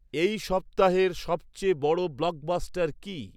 এই সপ্তাহেইর সবচেয়ে বড় ব্লকবাস্টার কি